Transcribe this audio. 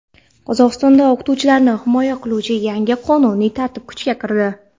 Qozog‘istonda o‘qituvchilarni himoya qiluvchi yangi qonuniy tartib kuchga kirdi.